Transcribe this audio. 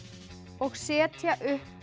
og setja upp